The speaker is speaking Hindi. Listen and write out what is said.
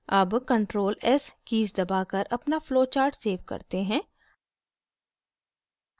अब ctrl + s कीज़ दबाकर अपना flowchart सेव करते हैं